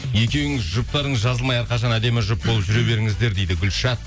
екеуіңіз жұптарыңыз жазылмай әрқашан әдемі жұп болып жүре беріңіздер дейді гүлшат